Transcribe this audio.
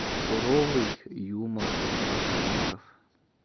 суровый юмор ботаников